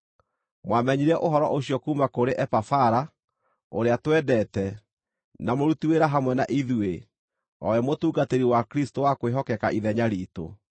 Mwamenyire ũhoro ũcio kuuma kũrĩ Epafara, ũrĩa twendete, na mũruti wĩra hamwe na ithuĩ o we mũtungatĩri wa Kristũ wa kwĩhokeka ithenya riitũ,